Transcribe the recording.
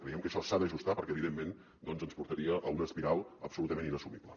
creiem que això s’ha d’ajustar perquè evidentment doncs ens portaria a una espiral absolutament inassumible